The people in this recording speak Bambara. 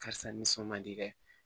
Karisa nisɔn man di dɛ